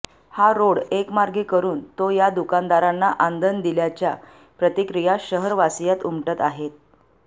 हा रोड एकमार्गी करून तो या दुकानदारांना आंदण दिल्याच्या प्रतिक्रिया शहरवासीयांत उमटत आहे